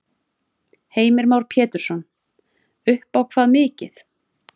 Heimir Már Pétursson: Upp á hvað mikið?